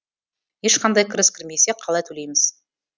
ешқандай кіріс кірмесе қалай төлейміз